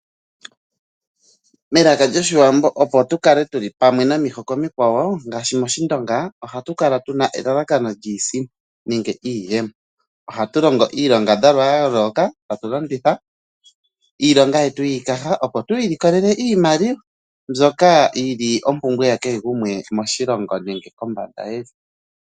Melako lyoshiwambo opo tukale tuli pamwe nomihiko omikwawo ngaashi moshindonga ohatu kala tuna elalakano liisimpo nenge iiyemo. Ohatu longo iilongadhalwa ya yooloka eta tu longitha iikaha yetu yene opo ilikolela iimaliwa.